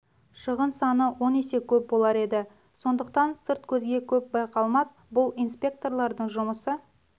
шығын саны он есе көп болар еді сондықтан сырт көзге көп байқалмас бұл инспекторлардың жұмысы